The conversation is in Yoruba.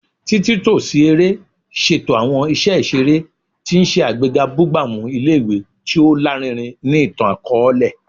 Titunto si ere ṣeto awọn iṣẹ iṣere, ti n ṣe agbega bugbamu ile-iwe ti o larinrin ni itan-akọọlẹ